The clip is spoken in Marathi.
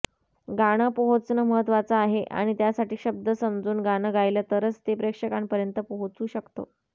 गाणं पोहोचणं महत्त्वाचं आहे आणि त्यासाठी शब्द समजून गाणं गायलं तरच ते प्रेक्षकांपर्यंत पोहोचू शकतं